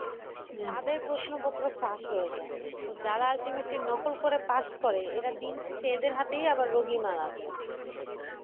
তাদের প্রশ্ন পত্র ফাঁস হয়ে যায়। তো যারা ultimately নকল করে পাস করে এরা দিন শেষে এদের হাতেই আবার রুগী মারা যায়।